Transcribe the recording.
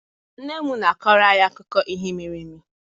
Nne m na-akọrọ anyị akụkọ ihe mere eme.